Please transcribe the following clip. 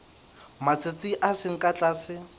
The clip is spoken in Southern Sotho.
matsatsi a seng ka tlase